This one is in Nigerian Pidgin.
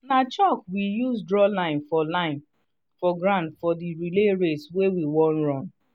na chalk we use draw line for line for ground for the relay race wey we wan run